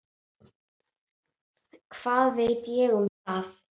Hvað veit ég um það?